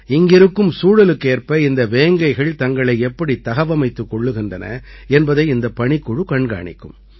இங்கிருக்கும் சூழலுக்கேற்ப இந்த வேங்கைகள் தங்களை எப்படி தகவமைத்துக் கொள்கின்றன என்பதை இந்தப் பணிக்குழு கண்காணிக்கும்